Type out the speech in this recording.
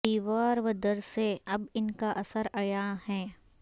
دیوار ودر سے اب ان کا اثر عیاں ہے